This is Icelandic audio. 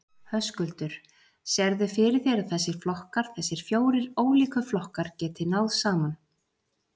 Höskuldur: Sérðu fyrir þér að þessir flokkar, þessir fjórir ólíku flokkar, geti náð saman?